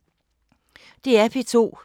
DR P2